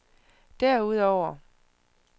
derudover